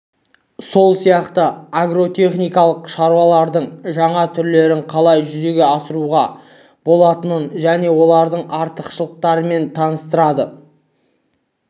сол сияқты агротехникалық шаралардың жаңа түрлерін қалай жүзеге асыруға болатынын және олардың артықшылықтарымен таныстырады